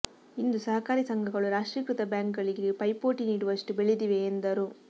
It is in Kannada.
ಇಂದು ಸಹಕಾರಿ ಸಂಘಗಳು ರಾಷ್ಟ್ರೀಕೃತ ಬ್ಯಾಂಕ್ಗಳಿಗೆ ಪೈಪೋಟಿ ನೀಡುವಷ್ಟು ಬೆಳೆದಿವೆ ಎಂದರು